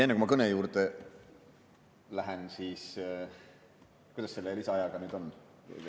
Enne kui ma kõne juurde lähen, kuidas selle lisaajaga on?